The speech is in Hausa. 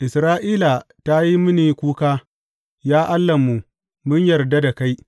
Isra’ila ta yi mini kuka, Ya Allahnmu, mun yarda da kai!’